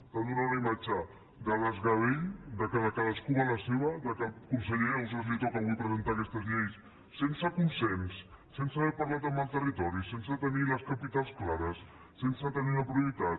estan donant una imatge de desgavell que cadascú va a la seva que el conseller ausàs li toca avui presentar aquestes lleis sense consens sense haver parlat amb el territori sense tenir les capitals clares sense tenir la prioritat